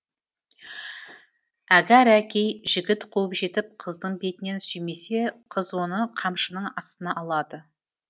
әгәрәки жігіт қуып жетіп қыздың бетінен сүймесе қыз оны қамшының астына алады